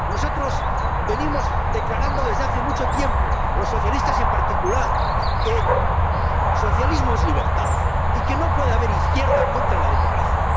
Nosotros venimos declarando desde hace mucho tiempo —los socialistas en particular— que socialismo es libertad y que no puede haber izquierda contra la democracia.